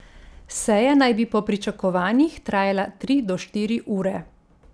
Seja naj bi po pričakovanjih trajala tri do štiri ure.